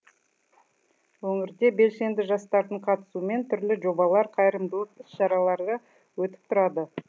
өңірде белсенді жастардың қатысуымен түрлі жобалар қайырымдылық іс шаралары өтіп тұрады